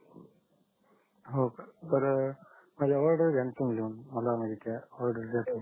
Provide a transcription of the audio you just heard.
हो का बर माझ्या ऑडर घ्याणा तुम्ही लिहून मला नाही का ऑडर दयाच आहे